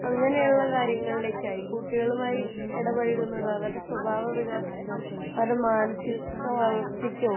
അങ്ങനെ ഉള്ള കാര്യങ്ങളിലേക് ആയി കുട്ടികളുമായി വികാസത്തിനോ അവരുടെ മാനസിക വളർച്ചക്കോ